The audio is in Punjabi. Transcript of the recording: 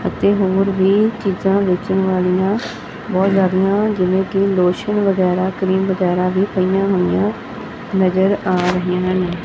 ਅਤੇ ਹੋਰ ਵੀ ਚੀਜਾਂ ਵੇਚਣ ਵਾਲਿਆਂ ਬਹੁਤ ਜੀਆਦੀਆਂ ਜਿਵੇਂ ਕੀ ਲੋਸ਼ਨ ਵਗੈਰਾ ਕਰੀਮ ਵਗੈਰਾ ਵੀ ਪਾਈਆਂ ਹੋਈਆਂ ਨਜਰ ਆ ਰਹੀਆਂ ਹਨ।